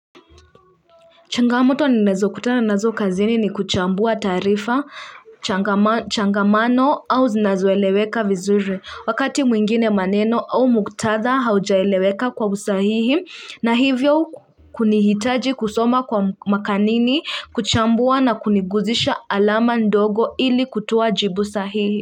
Changamoto ninazo kutana nazo kazini ni kuchambua taarifa, changamano au zinazoeleweka vizuri wakati mwingine maneno au muktadha haujaeleweka kwa usahihi na hivyo kunihitaji kusoma kwa makanini kuchambua na kuniguzisha alama ndogo ili kutoa jibu sahihi.